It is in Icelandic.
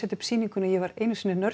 upp sýninguna ég var einu sinni